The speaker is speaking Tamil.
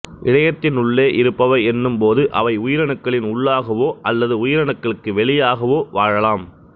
இழையத்தினுள்ளே இருப்பவை என்னும்போது அவை உயிரணுக்களின் உள்ளாகவோ அல்லது உயிரணுக்களுக்கு வெளியாகவோ வாழலாம்